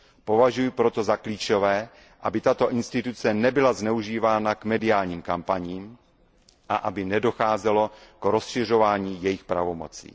Považuji proto za klíčové, aby tato instituce nebyla zneužívána k mediálním kampaním a aby nedocházelo k rozšiřování jejích pravomocí.